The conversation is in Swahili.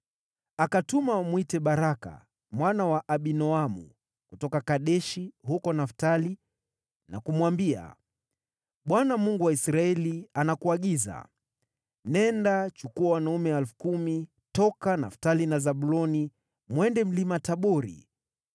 Akatuma wamwite Baraka mwana wa Abinoamu kutoka Kedeshi huko Naftali na kumwambia, “ Bwana , Mungu wa Israeli, anakuagiza: ‘Nenda, chukua wanaume 10,000 toka Naftali na Zabuloni, mwende Mlima Tabori.